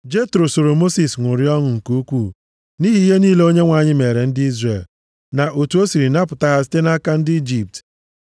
Jetro soro Mosis ṅụrịa ọṅụ nke ukwuu nʼihi ihe niile Onyenwe anyị meere ndị Izrel, na otu o siri napụta ha site nʼaka ndị Ijipt.